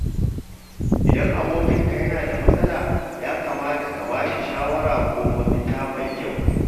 Idan abokinka yana da matsala, ya kamata ka ba bashi shawara ko mafita mai kyau.